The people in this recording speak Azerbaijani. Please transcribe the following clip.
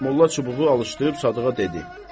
Molla çubuğu alışdırıb Sadığa dedi: